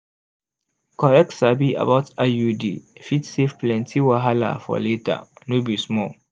correct sabi about iud fit save plenty wahala for later no be small